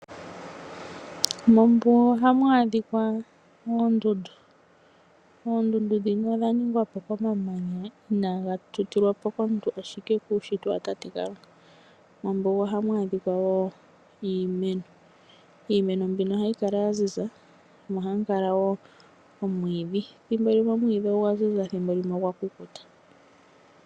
Mombuga ohamu adhikwa oondundu, oondundu dhino odha ningwa po komamanya inaga tutilwa po komuntu ashike okuushitwa watate Kalunga. Mombuga ohamu adhikwa wo iimeno, iimeno mbino ohayi kala yaziza.